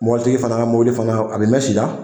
Mɔbilitigi fana ka mobili fana ,a bi mɛn si la.